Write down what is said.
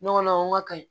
Ɲɔgɔnna o ka ka ɲi